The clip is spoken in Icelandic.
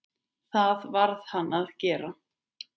Það varð hann að gera.